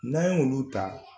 N'an ye olu ta